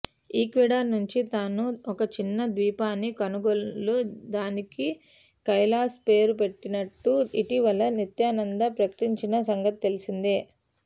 Ecuador నుంచి తాను ఒక చిన్న ద్వీపాన్ని కొనుగోలు దానికి కైలాస పేరుపెట్టినట్టు ఇటీవల నిత్యానంద ప్రకటించిన సంగతి తెలిసిందే